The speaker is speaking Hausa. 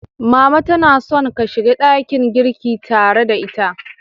Mama tana son ka shiga dakin girki tare da ita.